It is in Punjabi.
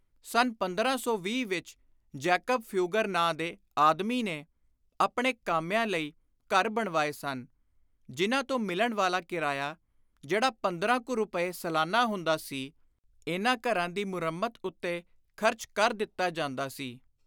ਸੰਨ 1520 ਵਿਚ ਜੈਕਬ ਫਿਊਗਰ ਨਾਂ ਦੇ ਆਦਮੀ ਨੇ ਆਪਣੇ ਕਾਮਿਆਂ ਲਈ ਘਰ ਬਣਵਾਏ ਸਨ, ਜਿਨ੍ਹਾਂ ਤੋਂ ਮਿਲਣ ਵਾਲਾ ਕਿਰਾਇਆ, ਜਿਹੜਾ ਪੰਦਰਾਂ ਕੁ ਰੁਪਏ ਸਾਲਾਨਾ ਹੁੰਦਾ ਸੀ, ਇਨ੍ਹਾਂ ਘਰਾਂ ਦੀ ਮੁਰੰਮਤ ਉੱਤੇ ਖ਼ਰਚ ਕਰ ਦਿੱਤਾ ਜਾਂਦਾ ਸੀ।